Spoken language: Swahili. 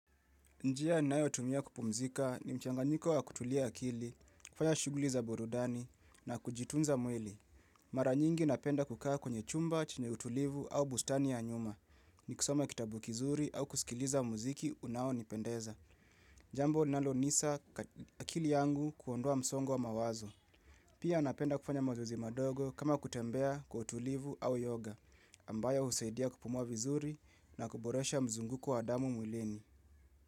Njia ninayo tumia kupumzika mchanganyiko wa kutulia akili, kufanya shuguli za burudani na kujitunza mwili. Mara nyingi napenda kukaa kwenye chumba, chenye utulivu au bustani ya nyuma. Ni kisoma kitabu kizuri au kusikiliza muziki unao nipendeza. Jambo linalo umiza akili yangu kuondua msongo wa mawazo. Pia napenda kufanya mazoezi madogo kama kutembea kwa utulivu au yoga. Ambaya husaidia kupumua vizuri na kuboresha mzunguko wa adamu mwilini.